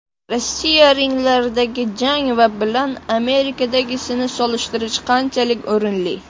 Rossiya ringlaridagi jang va bilan Amerikadagisini solishtirish qanchalik o‘rinli?